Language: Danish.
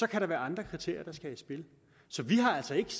kan der være andre kriterier der skal i spil så vi har altså ikke